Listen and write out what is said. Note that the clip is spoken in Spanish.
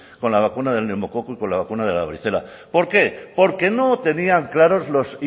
con la vacuna del neumococo y con la vacuna de la varicela por qué porque no tenían claros los